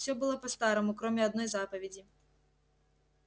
всё было по-старому кроме одной заповеди